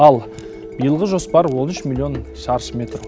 ал биылғы жоспар он үш миллион шаршы метр